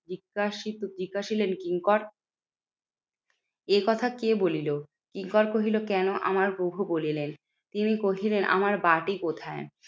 জিজ্ঞাসিলেন কিঙ্কর এ কথা কে বলিলো? কিঙ্কর কহিল কেন আমার প্রভু বলিলেন? তিনি কহিলেন আমার বাটি কোথায়?